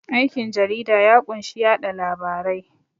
Aikin jarida ya kunshi yaɗa labarai